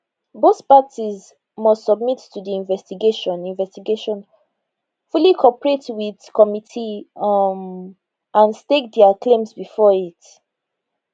both parties must submit to di investigation investigation fully cooperate wit committee um and stake dia claims before it